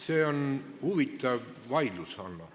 See on huvitav vaidlus, Hanno.